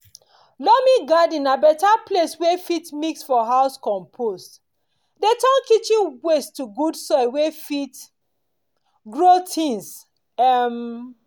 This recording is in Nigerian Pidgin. loamy garden na beta place wey fit mix for house compost dey turn kitchen waste to good soil wey fit grow things. um